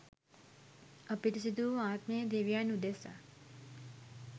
අපිරිසිදු වූ ආත්මය දෙවියන් උදෙසා